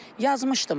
Yazmışdım da.